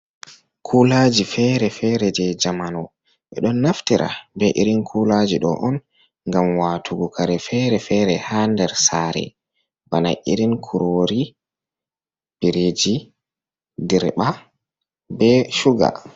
Kuuulaaji feere-feere jey jamanu, ɓe ɗon naftira bee irin kuulaaji ɗo on ngam waatugu kare feere-feere haa nder saare bana irin kuroori biriiji dirɓa bee shuga.